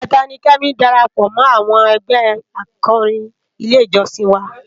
Ijètá ni Kemi dàrápò mò áwòn ègbè ákòrín ilé ijòsín wá